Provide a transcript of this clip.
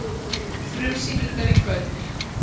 Frumsýningar í kvöld